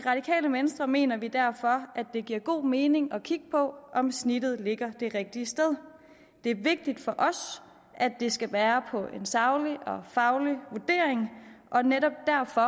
venstre mener vi derfor at det giver god mening at kigge på om snittet ligger det rigtige sted det er vigtigt for os at det skal være en saglig og faglig vurdering og netop derfor